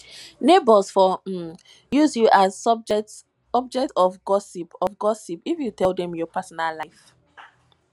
neighbors for um use you as object of gossip of gossip if you tell dem your personal life